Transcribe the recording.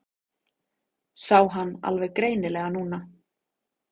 Sá hann alveg greinilega núna.